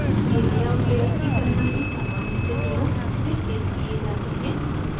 ये layout layer की तरह ही समान स्थितियों में pasted किये जाते हैं